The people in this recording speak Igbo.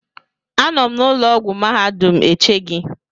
Anọ m na ụlọ ọgwụ mahadum eche gị